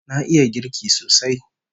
Na iya girki sosai